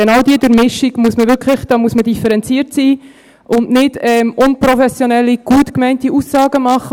Genau bei dieser Durchmischung muss man differenziert sein und nicht unprofessionelle, gut gemeinte Aussagen machen.